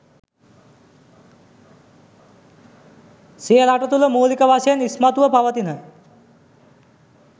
සිය රට තුළ මූලික වශයෙන් ඉස්මතුව පවතින